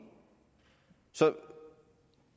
så